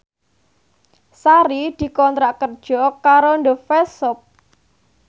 Sari dikontrak kerja karo The Face Shop